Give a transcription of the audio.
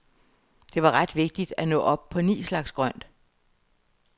Det var ret vigtigt at nå op på ni slags grønt.